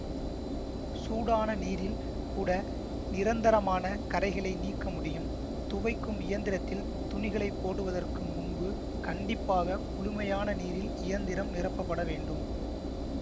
சூடான நீரில் கூட நிரந்தரமான கறைகளை நீக்க முடியும் துவைக்கும் இயந்திரத்தில் துணிகளைப் போடுவதற்கு முன்பு கண்டிப்பாக குளுமையான நீரில் இயந்திரம் நிரப்பப்பட வேண்டும்